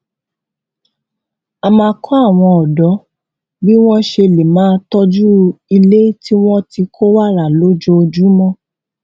a máa kó àwọn òdó bí wón ṣe lè máa tójú ilé tí wón ti kó wàrà lójoojúmó